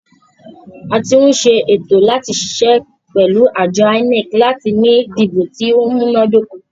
A tí ń ṣe ètò láti ṣiṣẹ́ pẹ̀lú àjọ INEC láti ní ìdìbò tí o múná dóko.